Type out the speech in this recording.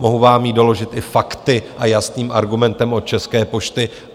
Mohu vám ji doložit i fakty a jasným argumentem od České pošty.